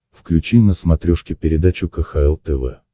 включи на смотрешке передачу кхл тв